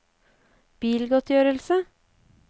bilgodtgjørelse